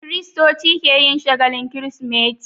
Kiristoci keyin shagalin kirismeti